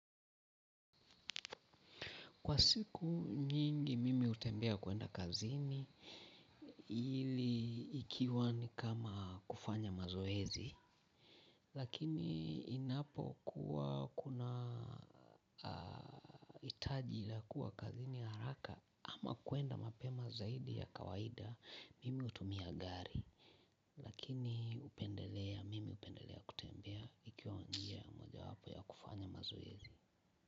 Kwa siku nyingi mimi hutembea kuenda kazini ili ikiwa ni kama kufanya mazoezi. Lakini inapo kuwa kunahitaji la kuwa kazini haraka ama kuenda mapema zaidi ya kawaida mimi hutumia gari. Lakini hupendelea mimi hupendelea kutembea ikiwa njia moja wapo ya kufanya mazoezi.